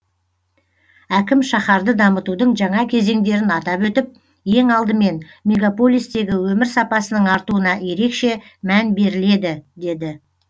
әкім шаһарды дамытудың жаңа кезеңдерін атап өтіп ең алдымен мегаполистегі өмір сапасының артуына ерекше мән беріледі деді